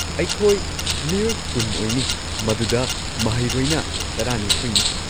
ꯑꯩꯈꯣꯏ ꯃꯤꯑꯣꯏ ꯀꯨꯟ ꯑꯣꯏꯅꯤ, ꯃꯗꯨꯗ ꯃꯍꯩꯔꯣꯏꯅ ꯇꯔꯥꯅꯤꯊꯣꯏꯅꯤ꯫